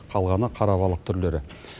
қалғаны қарабалық түрлері